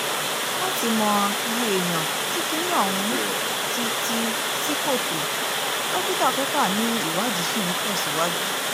láti mọ iye èèyàn tí kinní ọ̀hún ti ti ṣí kòtò dókítà coker ni ìwádìí ṣì ń tẹ̀síwájú